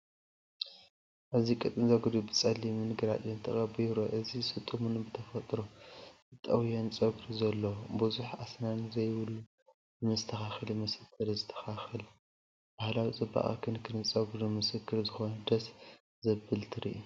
ኣብዚ ቀጢን ጸጉሪ ብጸሊምን ግራጭን ተቐቢኡ ይርአ። እዚ ስጡምን ብተፈጥሮ ዝተጠውየን ጸጉሪ ዘለዎ፡ ብዙሕ ኣስናን ዘይብሉ ብመስተካከሊ መስተር ዝስተኻኸል። ባህላዊ ጽባቐን ክንክን ጸጉርን ምስክር ዝኾነ ደስ ዘብል ትርኢት።